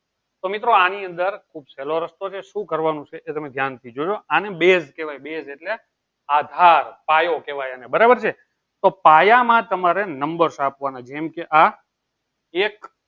તો મિત્રો આની અંદર ખુબ સેહલો રસ્તો છે શું કરવાનું છે એ તમે ધ્યાન સી જોયો આને base કેહવાય base એટલે આધાર પાયો કેહવાય બરાબર છે ને તો પાયા માં તમારે નમ્બર આપવાના જેમ જે